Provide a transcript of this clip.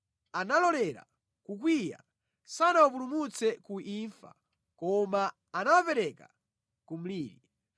Analolera kukwiya, sanawapulumutse ku imfa koma anawapereka ku mliri.